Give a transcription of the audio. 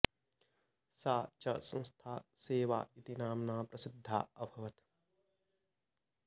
सा च संस्था सेवा इति नाम्ना प्रसिद्धा अभवत्